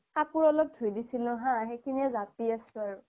কাপুৰ অলপ ধুই দিচিলো হা সেইখিনি য়ে জাপি আছো আৰু